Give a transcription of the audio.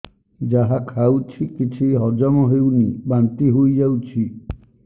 ଯାହା ଖାଉଛି କିଛି ହଜମ ହେଉନି ବାନ୍ତି ହୋଇଯାଉଛି